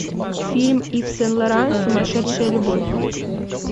фильм ив сен лоран сумасшедшая любовь